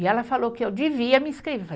E ela falou que eu devia me